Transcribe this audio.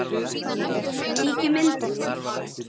Kíkjum inn til þín